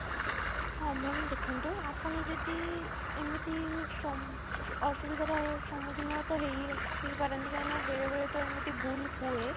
ହଁ ma'am ଦେଖନ୍ତୁ ଆପଣ ଯଦି ଏମିତି ସ ଅସୁବିଧା ର ସମୁଖୀନ ହେଇ ତ ହେଇ ପାରନ୍ତି କାହିଁକି ନା ବେଳେ ବେଳେ ତ ଏମିତି ଭୁଲ ହୁଏ